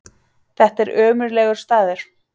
Þetta er ömurlegur staður.